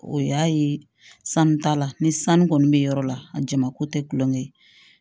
O y'a ye sanu ta la ni sanu kɔni bɛ yɔrɔ la a jama ko tɛ gulɔ ye